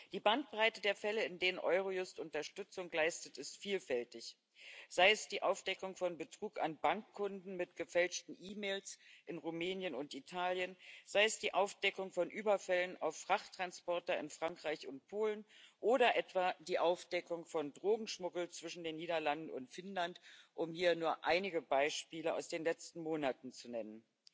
Die Bandbreite der Fälle, in denen Eurojust Unterstützung leistet, ist vielfältig sei es die Aufdeckung von Betrug an Bankkunden mit gefälschten E Mails in Rumänien und Italien, sei es die Aufdeckung von Überfällen auf Frachttransporter in Frankreich und Polen oder etwa die Aufdeckung von Drogenschmuggel zwischen den Niederlanden und Finnland, um hier nur einige Beispiele aus den letzten Monaten zu nennen.